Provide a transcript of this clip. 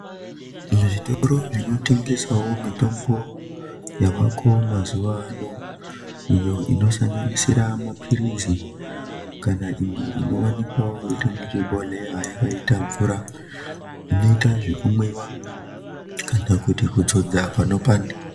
Muzvitoro zvino tengeswawo mitombo yavako mazuva ano iyo ino sanganisira mapirizi kana imwe ino wanikwawo iri muzvi bhohleya yakaita mvura inoita zvekumwiwa kana kuti kuzodza pano panda.